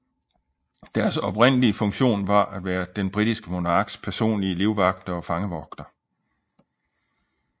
Deres oprindelige funktion var at være den britiske monarks personlige livvagter og fangevogtere